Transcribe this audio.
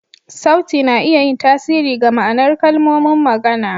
Sauti na iya yin tasiri ga ma'anar kalmomin magana.